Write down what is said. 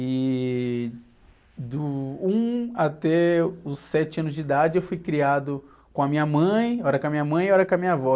E... Do um até os sete anos de idade eu fui criado com a minha mãe, ora com a minha mãe, ora com a minha avó.